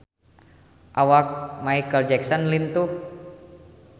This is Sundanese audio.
Awak Micheal Jackson lintuh